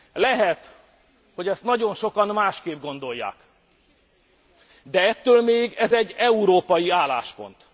Lehet, hogy ezt nagyon sokan másként gondolják, de ettől még ez egy európai álláspont.